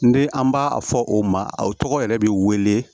N den an b'a a fɔ o ma o tɔgɔ yɛrɛ bɛ wele